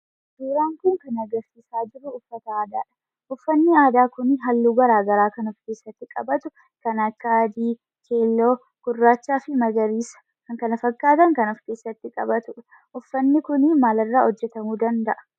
Suuraan kun kan agarsiisaa jiru uffata aadaadha. Uffanni aadaa kun halluu garaa garaa kan of keessaatti qabatu kan akka: adii, keelloo, gurraachaa fi magariisa kan kana fakkaatan kan of keessatti qabatuudha. uffanni kun maal irraa hojjetamuu danda'a?